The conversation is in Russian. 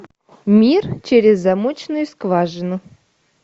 мир через замочную скважину